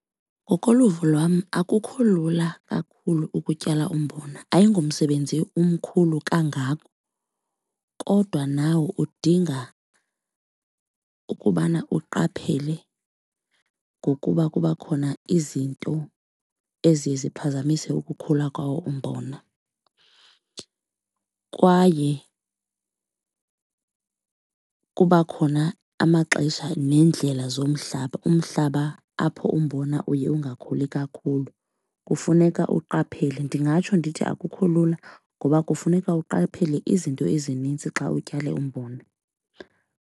Ngokoluvo lwam, akukho lula kakhulu ukutyala umbona. Ayingomsebenzi umkhulu kangako kodwa nawo udinga ukubana uqaphele ngokuba kuba khona izinto eziye ziphazamise ukukhula kwawo umbona. Kwaye kuba khona amaxesha neendlela zomhlaba, umhlaba apho umbona uye ungakhuli kakhulu, kufuneka uqaphele. Ndingatsho ndithi akukho lula ngoba kufuneka uqaphele izinto ezinintsi xa utyale umbona.